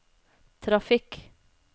trafikk